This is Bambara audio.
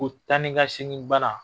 O tan ni ka segin banna